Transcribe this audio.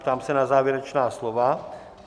Ptám se na závěrečná slova.